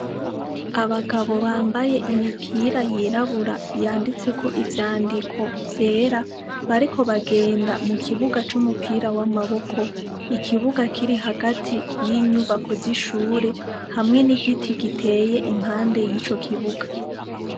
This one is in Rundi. Abagabo bambaye imipira yirabura yanditseko ivyandiko vyera bariko bagenda mu kibuga c'umupira w'amaboko, ikibuga kiri hagati y'inyubako z'ishure hamwe n'igiti giteye impande y'ico kibuga.